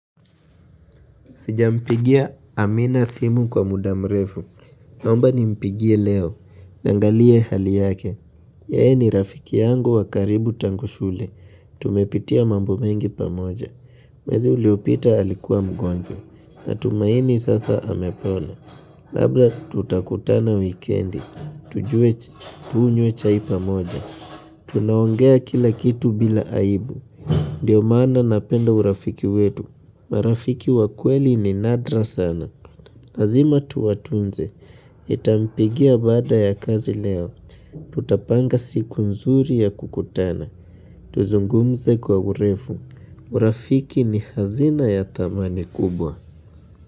Sijampigia Amina simu kwa muda mrefu, naomba nimpigie leo, ningalie hali yake, yeye ni rafiki yangu wa karibu tangu shule, tumepitia mambo mengi pamoja, mwezi uliopita alikuwa mgonjwa, natumaini sasa amepona. Labla tutakutana wikendi, tujue tunywe chaipa moja, tunaongea kila kitu bila aibu, ndio maana napenda urafiki wetu, marafiki wa kweli ni nadra sana, lazima tuwatunze, nitampigia baada ya kazi leo, tutapanga siku nzuri ya kukutana, tuzungumze kwa urefu, urafiki ni hazina ya thamani kubwa.